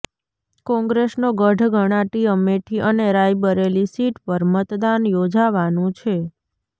કોંગ્રેસનો ગઢ ગણાતી અમેઠી અને રાયબરેલી સીટ પર મતદાન યોજાવાનું છે